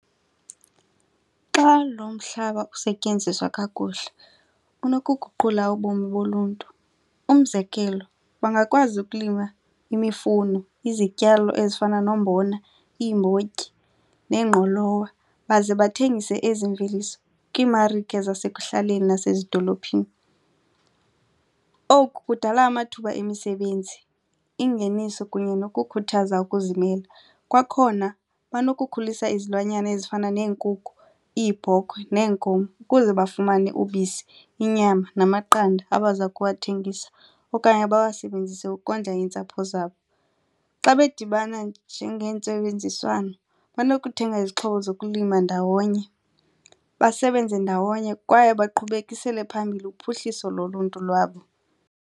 Xa lo mhlaba usetyenziswa kakuhle kunokuguqula ubomi boluntu. Umzekelo, bangakwazi ukulima imifuno izityalo ezifana nombona, iimbotyi neengqolowa baze bathengise ezi mveliso kwiimarike zasekuhlaleni nasezidolophini. Oku kudala amathuba emisebenzi, ingeniso kunye nokukhuthaza ukuzimela. Kwakhona banokukhulisa izilwanyana ezifana neenkukhu, iibhokhwe, neenkomo ukuze bafumane ubisi inyama namaqanda abaza kuwathengiswa okanye bawasebenzise ukondla iintsapho zabo. Xa bedibana nje ngentsebenziswano banokuthenga izixhobo zokulima ndawonye basebenze ndawonye kwaye baqhubekisele phambili uphuhliso loluntu lwabo.